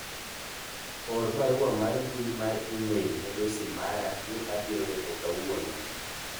or barua mar mbui mar email ne dosi mara ni abiro deko kawuono